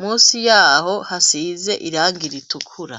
musi yaho hasize iragi ritukura.